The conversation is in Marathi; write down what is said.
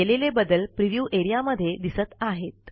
केलेले बदल प्रिव्ह्यू एरियामध्ये दिसत आहेत